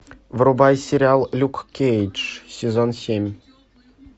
врубай сериал люк кейдж сезон семь